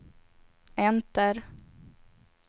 enter